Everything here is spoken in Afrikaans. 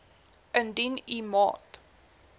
indien u maat